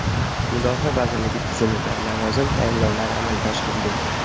Mudofaa vazirligi tizimida lavozim tayinlovlari amalga oshirildi.